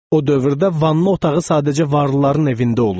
O dövrdə vanna otağı sadəcə varlıların evində olurdu.